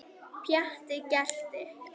Pjatti gelti.